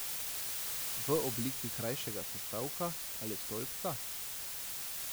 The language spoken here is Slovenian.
V obliki krajšega sestavka ali stolpca?